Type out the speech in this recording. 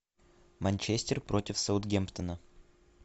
манчестер против саутгемптона